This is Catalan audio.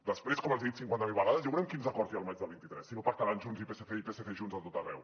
després com els he dit cinquanta mil vegades ja veurem quins acords hi ha al maig del vint tres si no pactaran junts i psc i psc i junts a tot arreu